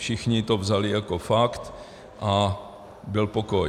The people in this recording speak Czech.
Všichni to vzali jako fakt a byl pokoj.